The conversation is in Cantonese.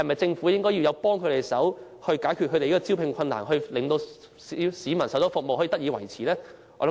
政府應否幫助這些行業解決招聘上的困難，令為市民提供的服務得以維持呢？